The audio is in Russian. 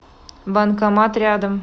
банкомат рядом